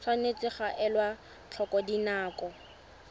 tshwanetse ga elwa tlhoko dinako